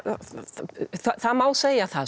það má segja það